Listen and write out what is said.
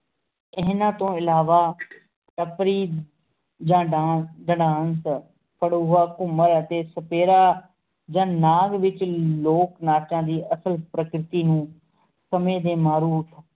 ਇਹਨਾ ਤੋਂ ਅਲਾਵਾ ਘੂਮਰ ਅਤੇ ਸਪੇਰਾ ਜਾਂ ਨਾਗ ਵਿਚ ਲੋਕ ਨਾਚਾਂ ਦੀ ਅਸਲ ਪ੍ਰਕ੍ਰਤੀ ਨੂੰ ਸਮੇਂ ਦੇ